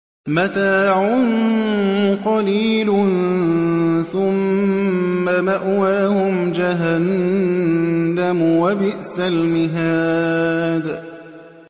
مَتَاعٌ قَلِيلٌ ثُمَّ مَأْوَاهُمْ جَهَنَّمُ ۚ وَبِئْسَ الْمِهَادُ